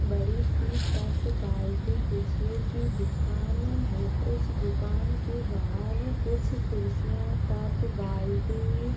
बड़ी सी टप बाल्टी कुर्सियों की दुकान है। उस दुकान के बाहर कुछ कुर्सियां टप बाल्टी --